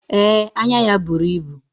Ee, anya ya buru ibu.